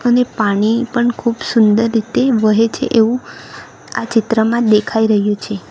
અને પાણી પણ ખૂબ સુંદર રીતે વહે છે એવું આ ચિત્રમાં દેખાઈ રહ્યું છે.